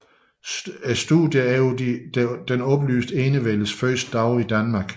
Studier over den oplyste enevældes første dage i Danmark